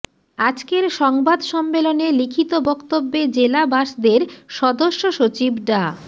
আজকের সংবাদ সম্মেলনে লিখিত বক্তব্যে জেলা বাসদের সদস্যসচিব ডা